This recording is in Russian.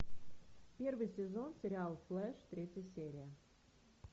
первый сезон сериал флэш третья серия